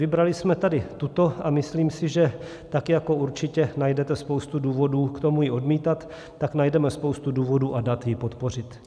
Vybrali jsme tady tuto a myslím si, že tak jako určitě najdete spoustu důvodů k tomu ji odmítat, tak najdeme spoustu důvodů a dat ji podpořit.